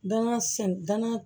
Danaya sɛ danna